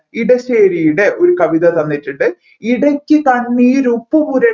ഇടശ്ശേശ്ശിയുടെ ഒരു കവിത തന്നുവെച്ചിട്ട് ഇടക്ക് കണ്ണീർ പുരട്ടി